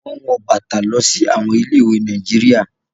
Sandals are worn to schools in Nigeria